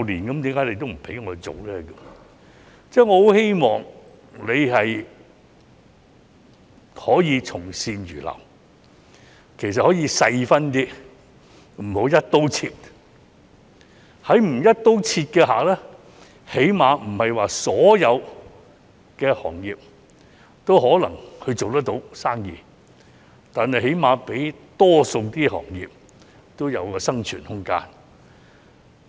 我希望局長同樣可以從善如流，其實可以按實際情況細分，不要"一刀切"，如此的話，即使不是所有行業也能做生意，但至少能給予多個行業生存的空間。